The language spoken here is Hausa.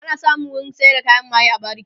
ana samun wurin sayar da kayan maye a bariki